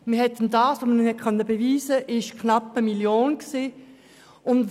Als man ihm dieses Vorgehen beweisen konnte, lag der Betrag bei knapp 1 Mio. Franken.